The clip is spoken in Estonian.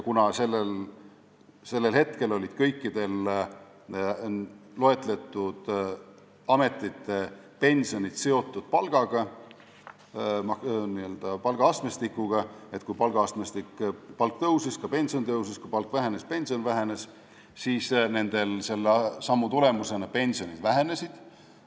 Kuna sellel hetkel olid kõikide loetletud ametite pensionid seotud palgaga, n-ö palgaastmestikuga – kui palgaastmestikus palk tõusis, siis ka pension tõusis, kui palk vähenes, siis pension vähenes –, vähenesid selle sammu tulemusena nende pensionid.